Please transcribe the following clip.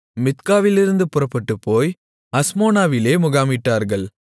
மித்காவிலிருந்து புறப்பட்டுப்போய் அஸ்மோனாவிலே முகாமிட்டார்கள்